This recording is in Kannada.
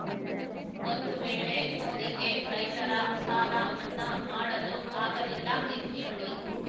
ಒಂದು ವೇಳೆ ಮೋದಿಗೆ ರೈತರ ಸಾಲ ಮನ್ನಾ ಮಾಡಲು ಆಗಲಿಲ್ಲ ಎಂದುಕೊಳ್ಳಿ